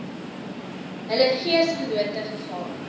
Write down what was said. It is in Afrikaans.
hul geesgenote gegaan